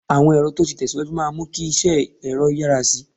Àwọn ẹ̀rọ tó ti tẹ̀ síwájú máa mú kí iṣẹ́ ẹ̀rọ yára sí i